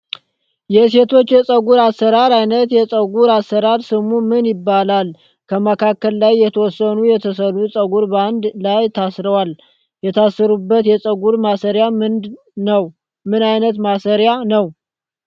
የሴቶች የፀጉር አሰራር አይነት የፀጉር አሰራር ስሙ ምን ይባላል? ከመካከል ላይ የተወሰኑ የተሰሩ ፀጉር በአንድ ላይ ታስሯል። የታሰረበት የፀጉር ማሰሪያ ምን ነዉ? ምን አይነት ማሰሪያስ ነዉ?